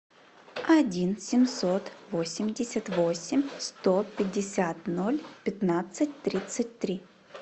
один семьсот восемьдесят восемь сто пятьдесят ноль пятнадцать тридцать три